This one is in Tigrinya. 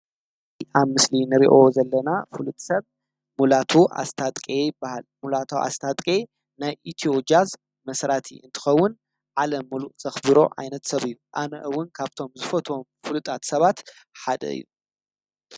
አብ ምስሊ ንሪኦ ዘለና ፍሉጥ ሰብ ሙላቱ አስታጥቄ ይበሃል። ሙላቱ አስታጥቄ ናይ ኢትዮ ጃዝ መስራቲ እንትኸውን ዓለም ሙሉእ ዘክብሮ ዓይነት ሰብ እዩ። አነ እውን ካብቶም ዝፈትዎም ፍሉጣት ሰባት ሓደ እዩ ።